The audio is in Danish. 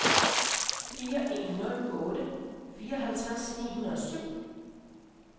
fire en nul otte fireoghalvtreds ni hundrede og syv